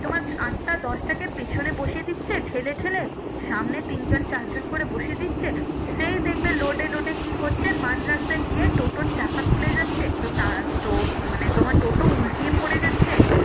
তোমার আটটা দশটাকে পেছনে বসিয়ে দিচ্ছে ঠেলে ঠেলে সামনে তিন জন চার জন করে বসিয়ে দিচ্ছে সেই দেখবে load এ load এ কি হচ্ছে মাঝ রাস্তায় গিয়ে টোটোর চাকা খুলে যাচ্ছে তো তার তো মানে তোমার টোটো উল্টিয়ে পরে যাচ্ছে